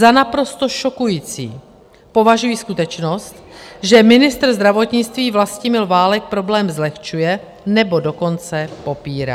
Za naprosto šokující považuji skutečnost, že ministr zdravotnictví Vlastimil Válek problém zlehčuje, nebo dokonce popírá.